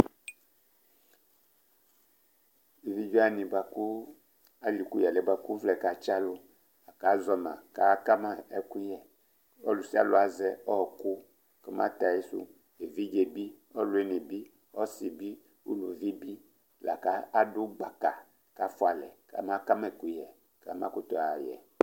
evidʒe wani baku aliku yalɛ baku uvlɛ katsi alu aku aʒɔ ma ku akama ɛkuɣɛ ɔlu sialu aʒɛ ɔwɔku kɔ ma tɛ aɣisuevidʒe bi, olu ɔwuini bi, ɔsi bi, uluvi bi aku adu gbaka ku afualɛ kamaka ma ɛkuyɛ kama ɣaɣɛ